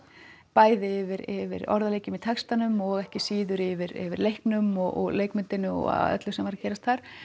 bæði yfir yfir orðaleikjum í textanum og ekki síður yfir yfir leiknum og leikmyndinni og öllu sem var að gerast þar